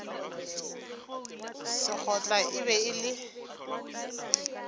sekgotla e be e le